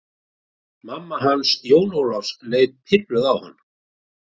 Mamma hans Jóns Ólafs leit pirruð á hann.